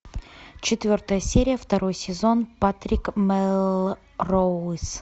четвертая серия второй сезон патрик мелроуз